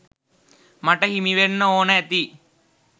මට හිමිවෙන්න ඕන ඇති.